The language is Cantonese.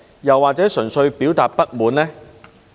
又或純粹表達不滿呢？